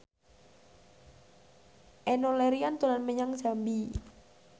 Enno Lerian dolan menyang Jambi